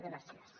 gràcies